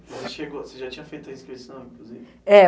Você chegou, você já tinha feito a inscrição, inclusive? é.